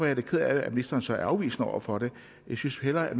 jeg da ked af at ministeren så er afvisende over for det jeg synes hellere